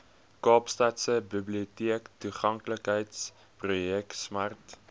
kaapstadse biblioteektoeganklikheidsprojek smart